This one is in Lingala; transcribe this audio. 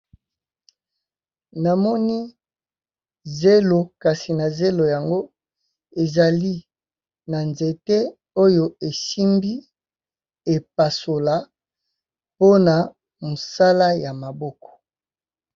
Namoni zelo kasi na zelo yango ezali na nzete oyo esimbi epasola mpona mosala ya maboko.